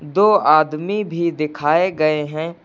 दो आदमी भी दिखाए गए हैं।